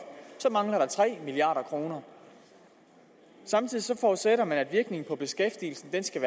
så mangler der tre milliard kroner samtidig forudsætter man at virkningen på beskæftigelsen skal